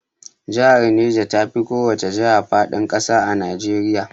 Jahar Neja tafi kowace jaha faɗin ƙasa a Najeriya